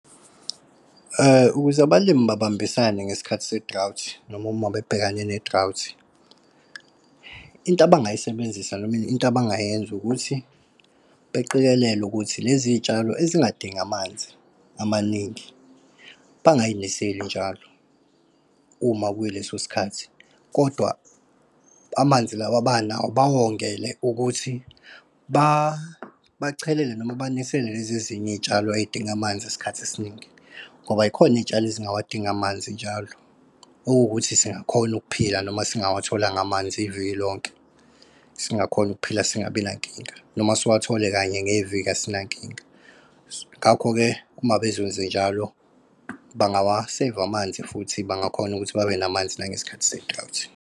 Ukuze abalimi babambisane ngesikhathi se-drought noma uma bebhekane ne-drought, into abangayisebenzisa noma into abangayenza ukuthi beqikelele ukuthi lezi tshalo ezingadingi amanzi amaningi bangay'niseli njalo uma kuy'leso sikhathi. Kodwa amanzi lawa banawo bawongele ukuthi bachelele noma banisele lezi ezinye iy'tshalo ey'dinga amanzi isikhathi esiningi. Ngoba zikhona iy'tshalo ezingawadingi amanzi njalo, okuwukuthi singakhona ukuphila noma singawatholanga amanzi iviki lonke, singakhona ukuphila, singabi nankinga, noma siwathole kanye ngeviki asinankinga. Ngakho-ke uma bezowenza njalo, bangawa-save amanzi, futhi bangakhona ukuthi babe namanzi nangesikhathi se-drought.